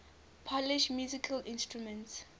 polish musical instruments